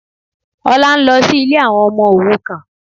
Olá ń lọ sí ilé àwọn ọmọ òrukàn